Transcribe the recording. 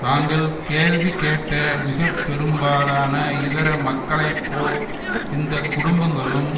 நாங்கள் கேள்வி கேட்ட மிக பெரும்பாலான இதர மக்களை போல் இந்த குடும்பங்களும்